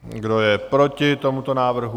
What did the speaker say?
Kdo je proti tomuto návrhu?